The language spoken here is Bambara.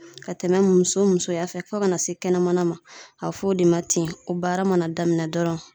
Ka tɛmɛ muso musoya fɛ fɔ kana se kɛnɛmana ma a be f'o de ma tin o baara mana daminɛ dɔrɔn